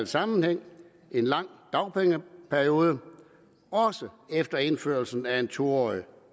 sammenhæng en lang dagpengeperiode også efter indførelsen af en to årig